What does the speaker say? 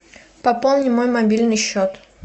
пополни мой мобильный счет